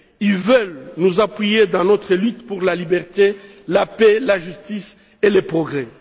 Ils veulent nous appuyer dans notre lutte pour la liberté, la paix, la justice et le progrès.